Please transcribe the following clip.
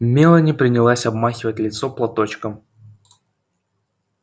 мелани принялась обмахивать лицо платочком